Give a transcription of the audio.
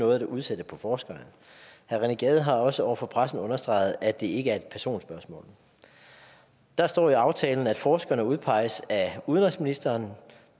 noget at udsætte på forskerne herre rené gade har også over for pressen understreget at det ikke er et personspørgsmål der står i aftalen at forskerne udpeges af udenrigsministeren